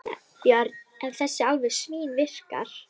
Björn: En þessi alveg svínvirkar?